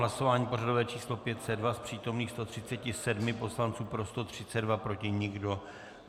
Hlasování pořadové číslo 502, z přítomných 137 poslanců, pro 132, proti nikdo.